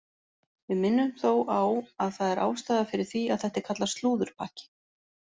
Við minnum þó á að það er ástæða fyrir því að þetta er kallað slúðurpakki.